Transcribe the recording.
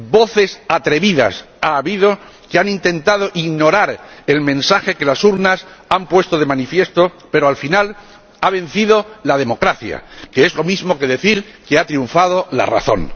Voces atrevidas ha habido que han intentado ignorar el mensaje que las urnas han puesto de manifiesto, pero, al final, ha vencido la democracia, que es lo mismo que decir que ha triunfado la razón.